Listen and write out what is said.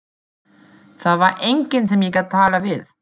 Það var enginn sem ég gat talað við.